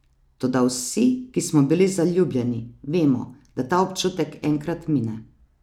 Toda vsi, ki smo bili zaljubljeni, vemo, da ta občutek enkrat mine.